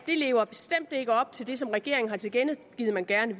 ikke lever op til det som regeringen har tilkendegivet at man gerne